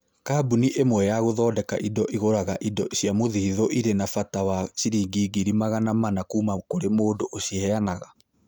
Kambuni ĩmwe ya gũthondeka indo ĩgũraga indo cia mũthithũ irĩ na bata wa ciringi ngiri magana mana kuuma kũrĩ mũndũ ũciheanaga.